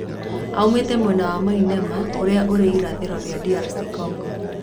Aumite mwena wa Maniema uria ũri irathiro ria DR Congo.